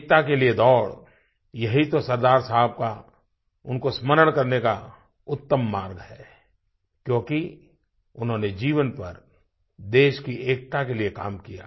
एकता के लिए दौड़ यही तो सरदार साहब का उनको स्मरण करने का उत्तम मार्ग है क्योंकि उन्होंने जीवनभर देश की एकता के लिए काम किया